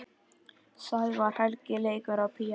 Sævar Helgi leikur á píanó.